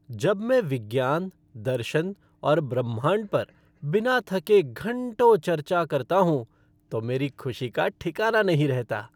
जब मैं विज्ञान, दर्शन और ब्रह्मांड पर बिना थके घंटों चर्चा करता हूँ तो मेरी खुशी का ठिकाना नहीं रहता।